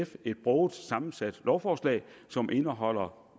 et broget sammensat lovforslag som indeholder